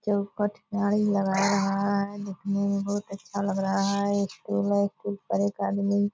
चौखट गाड़ी लगा रहा है। देखने मे बहुत अच्छा लग रहा है एक स्टूल है एक स्टूल पर एक आदमी --